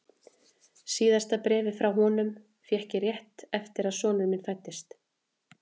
Síðasta bréfið frá honum fékk ég rétt eftir að sonur minn fæddist.